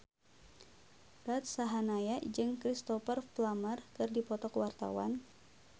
Ruth Sahanaya jeung Cristhoper Plumer keur dipoto ku wartawan